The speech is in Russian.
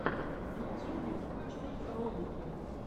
в ютюбе включай ролики